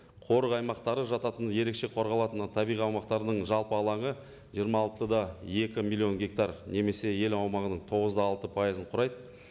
қорық аймақтары жататын ерекше қорғалатын ы табиғи аумақтардың жалпы алаңы жиырма алты да екі миллион гектар немесе ел аумағының тоғыз да алты пайызын құрайды